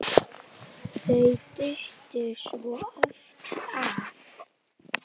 Hvað var að Heiðu?